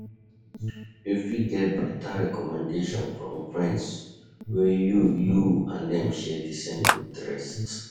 You fit getter better recommendation from friends wey you you and dem share di same interest